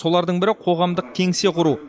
солардың бірі қоғамдық кеңсе құру